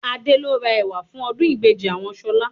Adé lo rà ẹ̀wà fún ọdún ìbejì àwọn Ṣọlá